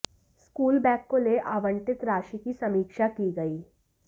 school bag को ले आवंटित राशि की समीक्षा की गई